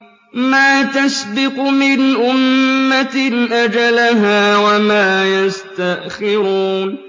مَا تَسْبِقُ مِنْ أُمَّةٍ أَجَلَهَا وَمَا يَسْتَأْخِرُونَ